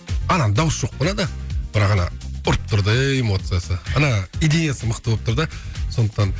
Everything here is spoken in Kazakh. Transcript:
ананың дауысы жоқ бірақ ана ұрып тұр да эмоциясы ана идеясы мықты болып тұр да сондықтан